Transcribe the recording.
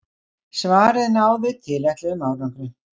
Svarið náði tilætluðum árangri.